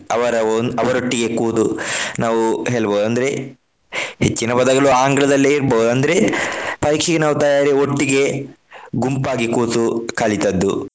ಅವರ ಒಂದ್~ ಅವರೊಟ್ಟಿಗೆ ಕೂತು ನಾವು ಹೇಳ್ಬಹುದು ಅಂದ್ರೆ ಹೆಚ್ಚಿನ ಪದಗಳು ಆಂಗ್ಲದಲ್ಲೇ ಇರ್ಬಹುದು. ಅಂದ್ರೆ ಪರೀಕ್ಷೆಗೆ ನಾವು ತಯಾರಿ ಒಟ್ಟಿಗೆ ಗುಂಪಾಗಿ ಕೂತು ಕಲಿತದ್ದು.